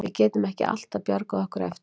Við getum ekki alltaf bjargað okkur eftir á.